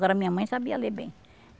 Agora minha mãe sabia ler bem.